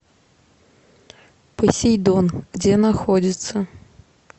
посейдон где находится